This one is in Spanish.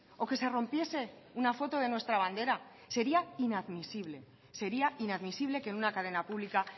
o que se rompiese una foto de nuestra bandera sería inadmisible sería inadmisible que en una cadena pública